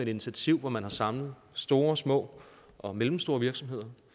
initiativ hvor man har samlet store små og mellemstore virksomheder